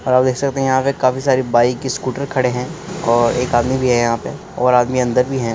और आप देख सकते हैं यहाँ पे काफी सारे बाईक स्कूटर खड़े है और एक आदमी भी है यहाँ पे और आदमी अंदर भी हैं।